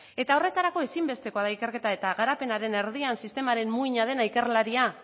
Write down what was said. horretarako ezinbestekoa da ikerketa eta garapenaren erdian sistemaren muina den ikerlaria